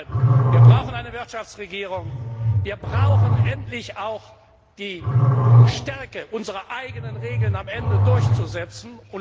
Deshalb brauchen wir eine Wirtschaftsregierung, wir brauchen endlich auch die Stärke, unsere eigenen Regeln am Ende durchzusetzen.